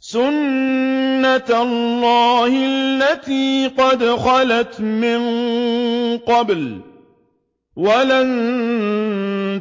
سُنَّةَ اللَّهِ الَّتِي قَدْ خَلَتْ مِن قَبْلُ ۖ وَلَن